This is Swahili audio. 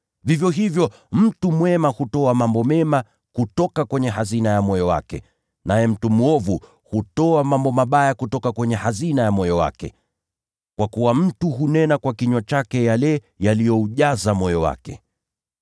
Vivyo hivyo mtu mwema hutoa mambo mema kutoka kwenye hazina ya moyo wake, naye mtu mwovu hutoa mambo maovu kutoka kwenye hazina ya moyo wake. Kwa kuwa mtu hunena kwa kinywa chake yale yaliyoujaza moyo wake.